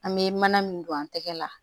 An bɛ mana min don an tɛgɛ la